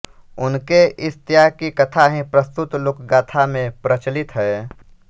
उनके इस त्याग की कथा ही प्रस्तुत लोकगाथा में प्रचलित है